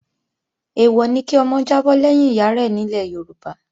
Èèwọ̀ ni kí ọmọ jábọ́ lẹ́yìn ìyárẹ̀ nílẹ̀ Yorùbá